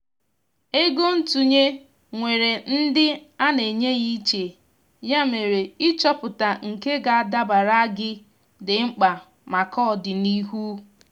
ego ntụnye nwèrè ndị ana enye ya iche ya mere ịchọpụta nke ga adabara gị di mkpa maka ọdịnihu.